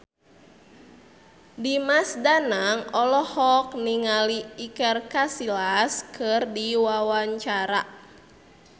Dimas Danang olohok ningali Iker Casillas keur diwawancara